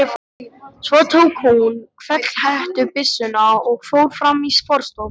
Svo tók hún hvellhettubyssuna og fór fram í forstofu.